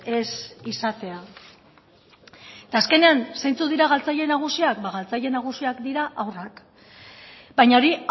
ez izatea eta azkenean zeintzuk dira galtzaile nagusiak ba galtzaile nagusiak dira haurrak baina hori